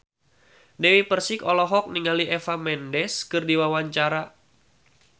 Dewi Persik olohok ningali Eva Mendes keur diwawancara